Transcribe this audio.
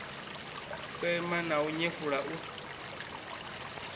sema na u nyefula u